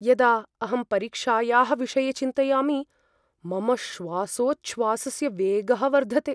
यदा अहं परीक्षायाः विषये चिन्तयामि, मम श्वासोच्छ्वासस्य वेगः वर्धते।